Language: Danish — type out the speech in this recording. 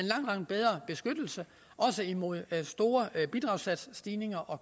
langt bedre beskyttelse også imod store bidragssatsstigninger og